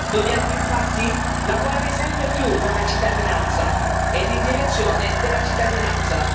Dobbiamo infatti lavorare sempre più con la cittadinanza e in direzione della cittadinanza.